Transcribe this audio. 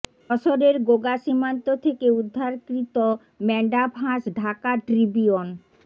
যশোরের গোগা সীমান্ত থেকে উদ্ধারকৃত ম্যান্ডাফ হাঁস ঢাকা ট্রিবিউন